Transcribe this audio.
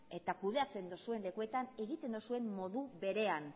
eta kudeatzen duzuen lekuetan egiten duzuen modu berean